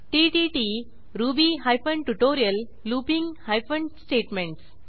TTT Ruby hyphen tutorial looping hyphen statements